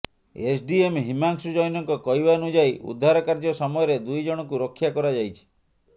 SDM Himanshu ଜୈନଙ୍କ କହିବାନୁଯାୟୀ ଉଦ୍ଧାର କାର୍ଯ୍ୟ ସମୟରେ ଦୁଇ ଜଣଙ୍କୁ ରକ୍ଷା କରାଯାଇଛି